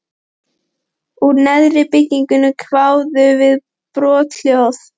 Úr neðra byrginu kváðu við brothljóð.